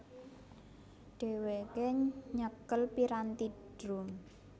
Dhewéke nyekel piranthi drum